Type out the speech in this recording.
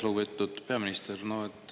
Lugupeetud peaminister!